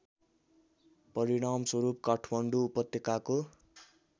परिणामस्वरूप काठमाडौँ उपत्यकाको